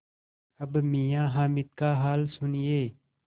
अब मियाँ हामिद का हाल सुनिए